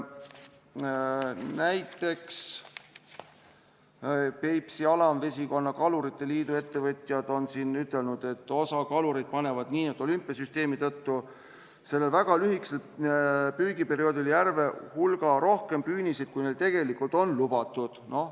Näiteks, Peipsi Alamvesikonna Kalurite Liidu ettevõtjad on öelnud, et osa kalureid panevad olümpiasüsteemi tõttu sellel väga lühikesel püügiperioodil järve hulga rohkem püüniseid, kui neile tegelikult on lubatud.